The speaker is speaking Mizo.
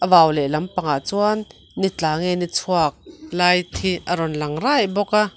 vau lehlam pangah chuan ni tla nge chhuak lai hi a rawn lang raih bawk a.